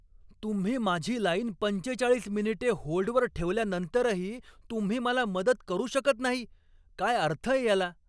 तुम्ही माझी लाईन पंचेचाळीस मिनिटे होल्डवर ठेवल्यानंतरही तुम्ही मला मदत करू शकत नाही, काय अर्थय याला?